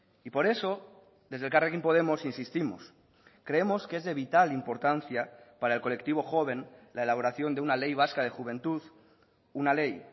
y por eso desde elkarrekin podemos insistimos creemos que es de vital importancia para el colectivo joven la elaboración de una ley vasca de juventud una ley